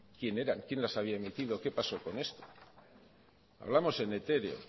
quién las había emitido qué pasó con esto hablamos en etéreo